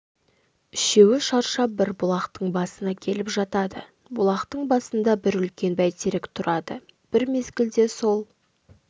үшеуі шаршап бір бұлақтың басына келіп жатады бұлақтың басында бір үлкен бәйтерек тұрады бір мезгілде сол